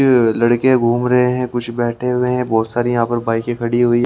लड़के घूम रहे हैं कुछ बैठे हुए हैं बहोत सारी यहाँ पर बाइक खड़ी हुई--